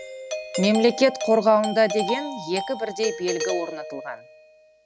мемлекет қорғауында деген екі бірдей белгі орнатылған